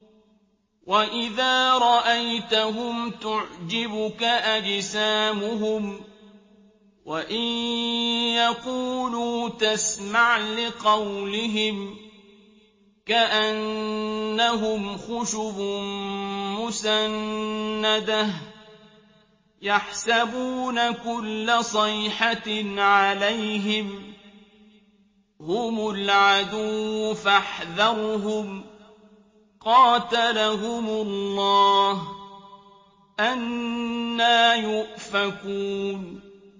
۞ وَإِذَا رَأَيْتَهُمْ تُعْجِبُكَ أَجْسَامُهُمْ ۖ وَإِن يَقُولُوا تَسْمَعْ لِقَوْلِهِمْ ۖ كَأَنَّهُمْ خُشُبٌ مُّسَنَّدَةٌ ۖ يَحْسَبُونَ كُلَّ صَيْحَةٍ عَلَيْهِمْ ۚ هُمُ الْعَدُوُّ فَاحْذَرْهُمْ ۚ قَاتَلَهُمُ اللَّهُ ۖ أَنَّىٰ يُؤْفَكُونَ